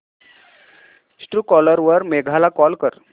Truecaller वर मेघा ला call कर